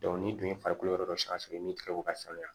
ni dun ye farikolo yɔrɔ dɔ sange min tigɛ ko ka sanuya